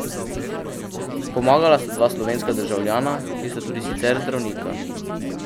Pomagala sta dva slovenska državljana, ki sta tudi sicer zdravnika.